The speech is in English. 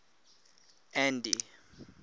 andy